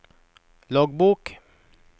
loggbok